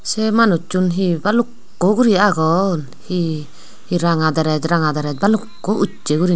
se manujchun he balukko gori agon he he ranga drej ranga drej balukko ujse gori.